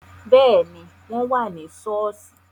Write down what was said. Béẹ̀ ni, wọ́n wà ni ṣọ́ọ́ṣì